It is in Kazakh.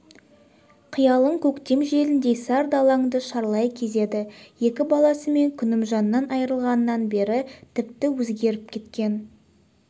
қиялың көктем желіндей сар далаңды шарлай кезеді екі баласы мен күнімжаннан айырылғаннан бері тіпті өзгеріп кеткен